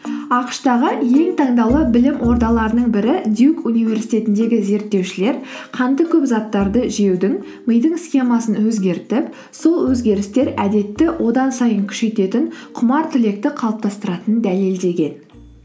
ақш тағы ең таңдаулы білім ордаларының бірі дьюк университетіндегі зерттеушілер қанты көп заттарды жеудің мидың схемасын өзгертіп сол өзгерістер әдетті одан сайын күшейтетін құмар тілекті қалыптастыратынын дәлелдеген